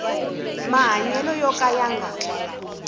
mahanyelo yo ka ya nga